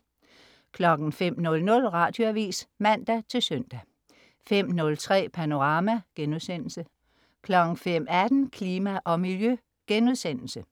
05.00 Radioavis (man-søn) 05.03 Panorama* 05.18 Klima og Miljø*